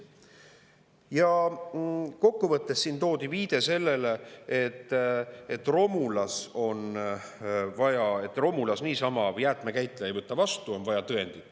Ja kokku võttes, siin toodi viide sellele, et romulas niisama jäätmekäitleja ei võta vastu, on vaja tõendit.